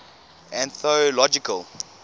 anthological